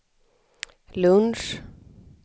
lunch